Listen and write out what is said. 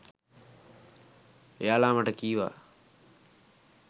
එයාලා මට කීවා